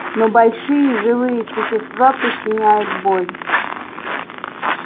но большие живые существа причиняют боль